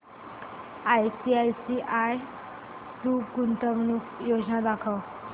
ICICI Pru गुंतवणूक योजना दाखव